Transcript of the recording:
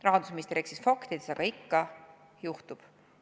Rahandusminister eksis faktidega, aga ikka juhtub.